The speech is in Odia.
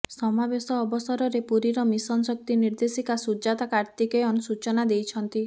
ସମାବେଶ ଅବସରରେ ପୁରୀର ମିଶନ ଶକ୍ତି ନିର୍ଦେଶିକା ସୁଜାତା କାର୍ତ୍ତିକେୟନ ସୂଚନା ଦେଇଛନ୍ତି